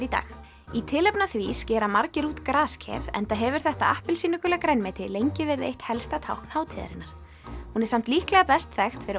í dag í tilefni af því skera margir út grasker enda hefur þetta appelsínugula grænmeti lengi verið eitt helsta tákn hátíðarinnar hún er samt líklega best þekkt fyrir